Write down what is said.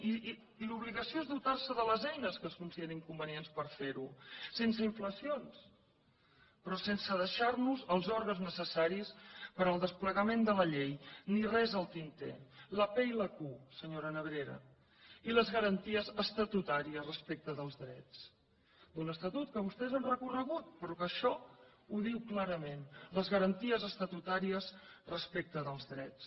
i l’obligació és dotar se de les eines que es considerin convenients per fer ho sense inflacions però sense deixar nos els òrgans necessaris per al desplegament de la llei ni res al tinter la pe i la cu senyora nebrera i les garanties estatutàries respecte dels drets d’un estatut que vostès han recorregut però que això ho diu clarament les garanties estatutàries respecte dels drets